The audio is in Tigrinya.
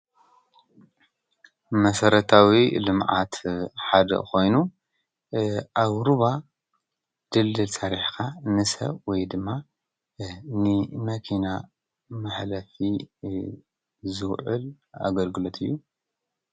መሰረታዊ ልማዓት ሓደ ኮይኑ ፣ ኣብ ሩባ ድልድል ሰሪሕኻ ንሰብ ወይ ድማ ንመኪና መሕለፊ ዝዋዕል ኣገልግሎት እዩ።